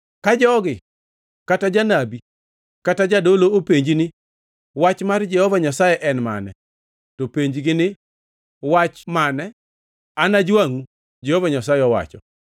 “Ka jogi, kata janabi kata jadolo, openji ni, ‘Wach mar Jehova Nyasaye en mane?’ To penjgi ni, ‘Wach mane? Anajwangʼu, Jehova Nyasaye owacho.’